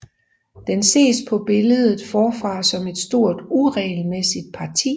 Den ses på billedet forfra som et stort uregelmæssigt parti